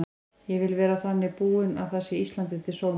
Ég vil vera þannig búin að það sé Íslandi til sóma.